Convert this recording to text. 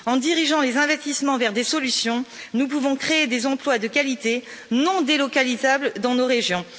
En dirigeant les investissements vers des solutions, nous pouvons créer des emplois de qualité non délocalisables dans nos régions.